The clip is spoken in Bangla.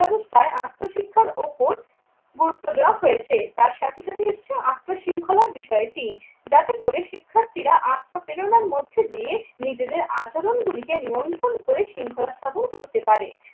ব্যাবস্থায় আত্ম শিক্ষার ওপর গুরুত্ব দেওয়া হয়েছে। তার সাথে সাথে এসেছে আত্মশৃঙ্খলার বিষয়টি। যাতে করে শিক্ষার্থীরা আত্মপ্রেরণার মধ্যে দিয়ে নিজেদের আচরণগুলিকে মন্থন করে শৃঙ্খলা স্থাপন করতে পারে।